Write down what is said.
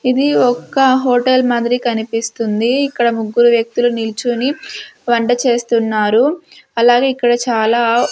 ఇది ఒక్క హోటల్ మాదిరి కనిపిస్తుంది ఇక్కడ ముగ్గురు వ్యక్తులు నిల్చుని వంట చేస్తున్నారు అలాగే ఇక్కడ చాలా--